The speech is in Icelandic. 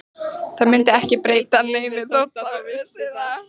Það myndi ekki breyta neinu þótt það vissi það.